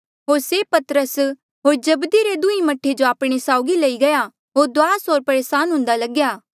होर से पतरस होर जब्दी रे दुंहें मह्ठे जो आपणे साउगी लई गया होर दुआस होर परेसान हुँदा लग्या